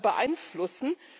beeinflussen.